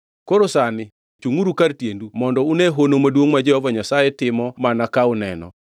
“Koro sani chungʼuru kar tiendu mondo une hono maduongʼ ma Jehova Nyasaye timo mana ka uneno!